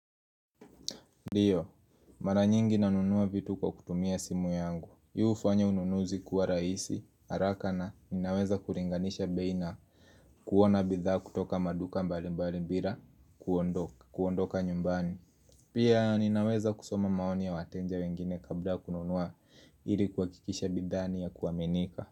Ndio, mara nyingi na nunua vitu kwa kutumia simu yangu yufanya ununuzi kuwa rahisi, haraka na ninaweza kuringanisha bei na kuona bidhaa kutoka maduka mbali mbali mbila, kuondoka nyumbani Pia ninaweza kusoma maoni ya wateja wengine kabla ya kununua ili kuhakikisha bidhaa ni ya kuaminika.